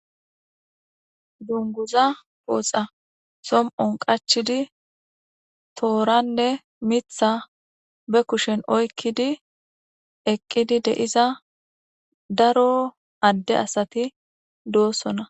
dunguza pooxa som7on qachidi tooranne mitha be kushen oykkidi eqqidi deiza daro adde asati doossona